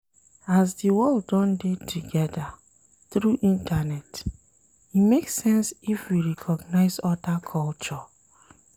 As di world don dey together through internet, e make sense if we recognise oda culture